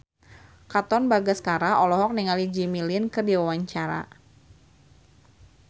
Katon Bagaskara olohok ningali Jimmy Lin keur diwawancara